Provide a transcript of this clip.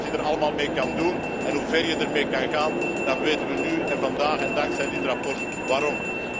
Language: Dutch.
Als je ziet wat je er allemaal mee kunt doen en hoe ver je er mee kunt gaan, dan weten we nu en vandaag en dankzij dit verslag waarom.